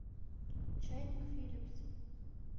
чайник филипс